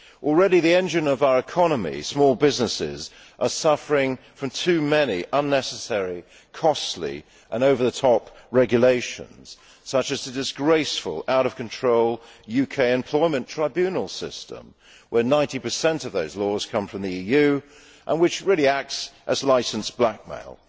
Already the engine of our economies small businesses are suffering from too many unnecessary, costly and over the top regulations, such as the disgraceful, out of control UK employment tribunal system, where 90 of those laws come from the EU and which really acts as licensed blackmail.